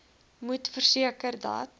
moet verseker dat